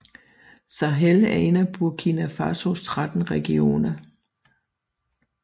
Sahel er en af Burkina Fasos 13 regioner